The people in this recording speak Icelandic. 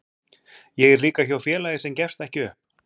Ég er líka hjá félagi sem gefst ekki upp.